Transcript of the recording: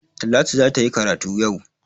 Talatu za ta yi karatu yau.